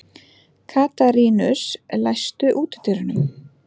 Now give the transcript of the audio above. Katarínus, læstu útidyrunum.